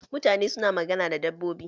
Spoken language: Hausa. Mutane su na magana da dabbobi.